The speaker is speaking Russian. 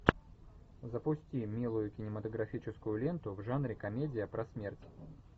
запусти милую кинематографическую ленту в жанре комедия про смерть